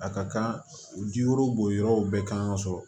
A ka kan u ji woro bo yɔrɔ bɛɛ kan ka sɔrɔ